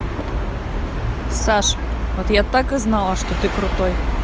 саш вот я так и знала что ты крутой